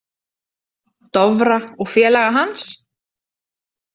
Dofra og félaga hans.